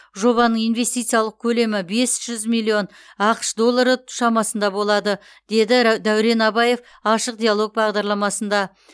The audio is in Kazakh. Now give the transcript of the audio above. жобаның инвестициялық көлемі бес жүз миллион ақш доллары шамасында болады деді рә дәурен абаев ашық диалог бағдарламасында